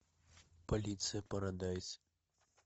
полиция парадайз